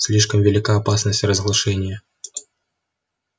слишком велика опасность разглашения